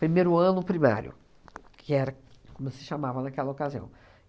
Primeiro ano primário, que era como se chamava naquela ocasião.